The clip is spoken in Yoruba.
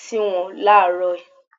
si wọn làárọ̀.